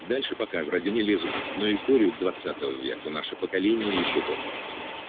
дальше пока вроде не лезут но историю двадцатого века наше поколение ещё помнит